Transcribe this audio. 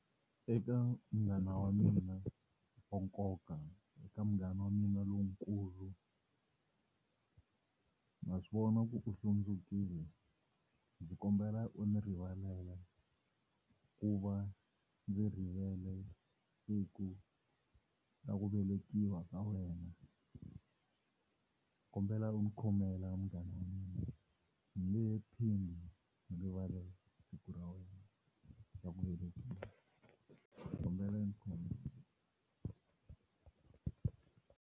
Eka munghana wa mina wa nkoka eka munghana wa mina lowukulu, na swivona ku u hlundzukile ndzi kombela u ni rivalela ku va ndzi rivele siku ra ku velekiwa ka wena kombela u ni khomela munghana wa mina ndzi nge he phindi ni rivale siku ra wena ra ku velekiwa kombela u ni .